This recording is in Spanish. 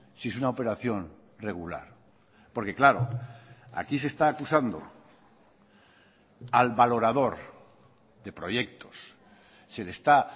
si es una operación regular porque claro aquí se está acusando al valorador de proyectos se le está